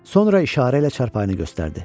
Sonra işarə ilə çarpayını göstərdi.